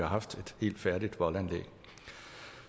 haft et helt færdigt voldanlæg